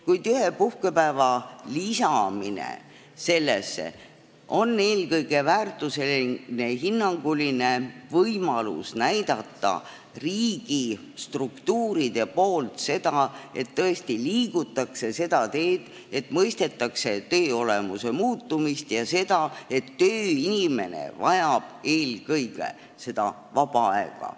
Kuid ühe puhkepäeva lisamine on eelkõige riigi struktuuride väärtushinnanguline võimalus näidata, et tõesti liigutakse seda teed, et mõistetakse töö olemuse muutumist ja seda, et tööinimene vajab eelkõige vaba aega.